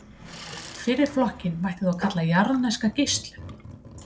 Fyrri flokkinn mætti þá kalla jarðneska geislun.